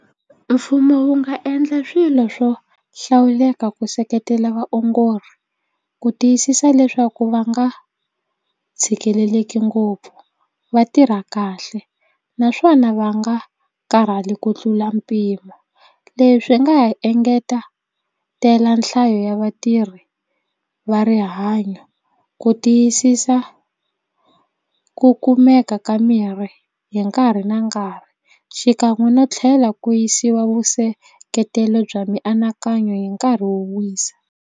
Mfumo wu nga endla swilo swo hlawuleka ku seketela vaongori ku tiyisisa leswaku va nga tshikeleleki ngopfu va tirha kahle naswona va nga karhali ku tlula mpimo. Leswi nga ha engeta tela nhlayo ya vatirhi va rihanyo ku tiyisisa ku kumeka ka mirhi hi nkarhi na nkarhi xikan'we no tlhela ku yisiwa vuseketeri bya mianakanyo hi nkarhi wo wisa.